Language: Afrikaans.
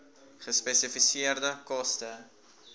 gespesifiseerde koste